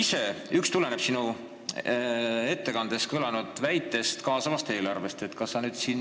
Üks küsimus tuleneb sinu ettekandes kõlanud väitest kaasava eelarve kohta.